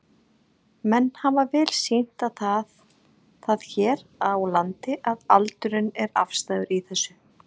Menn hafa vel sýnt það hér á landi að aldurinn er afstæður í þessu?